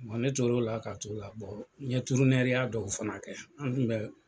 ne tor'o la ka t'o la n ye dɔw fana kɛ n kun bɛ.